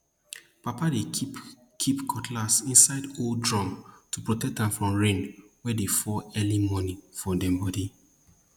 papa dey keep keep cutlass inside old drum to protect am from rain wey dey fall early morning for dem bodi